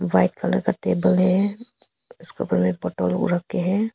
White colour का table है उसपे रखें हैं।